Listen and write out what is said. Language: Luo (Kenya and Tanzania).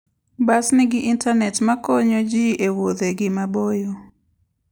Bas nigi intanet ma konyogi e wuodhegi maboyo.